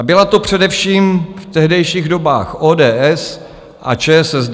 A byla to především v tehdejších dobách ODS a ČSSD.